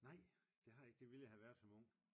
Nej det har jeg ikke det ville jeg havde været som ung